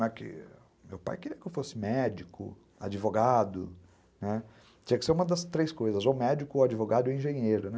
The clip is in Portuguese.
Meu pai queria que eu fosse médico, advogado, né, tinha que ser uma das três coisas, ou médico, ou advogado, ou engenheiro, né?